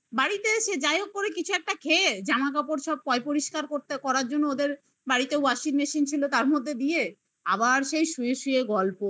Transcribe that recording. হ্যাঁ বাড়িতে এসে যাইহোক করে কিছু একটা খেয়ে জামাকাপড় সব পয় পরিষ্কার করতে করার জন্য ওদের washing machine ছিল তার মধ্যে দিয়ে আবার সেই শুয়ে শুয়ে গল্প